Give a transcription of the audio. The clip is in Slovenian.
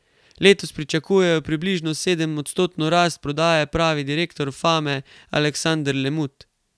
Letos pričakujejo približno sedemodstotno rast prodaje, pravi direktor Fame Aleksander Lemut.